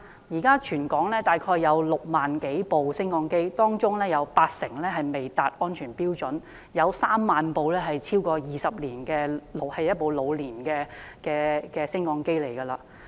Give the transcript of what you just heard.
現時全港大概有6萬多部升降機，當中八成未達安全標準，有3萬部升降機機齡超過20年，是老年升降機。